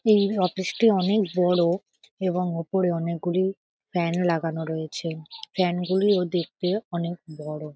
এই অফিস টি অনেক বড় এবং উপরে অনেকগুলি ফ্যান লাগানো রয়েছে ফ্যান গুলিও দেখতে অনেক বড় ।